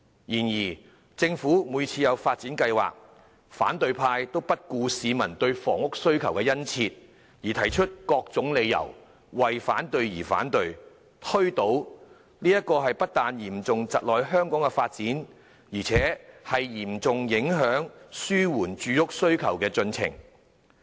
然而，政府每次提出發展計劃，反對派都不顧市民對房屋的殷切需求，以各種理由為反對而反對、推倒計劃，這不但嚴重窒礙了香港的發展，更嚴重影響紓緩住屋需求的進程。